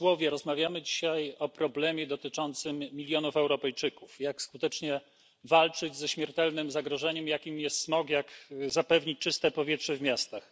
Rozmawiamy dzisiaj o problemie dotyczącym milionów Europejczyków jak skutecznie walczyć ze śmiertelnym zagrożeniem, jakim jest smog, jak zapewnić czyste powietrze w miastach.